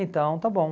Então, está bom.